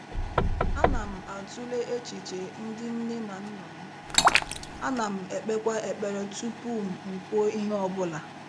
Ana m atụle echiche ndị nne na nna m, a nam-ekpekwa ekpere tupu m kwuo ihe ọ bụla.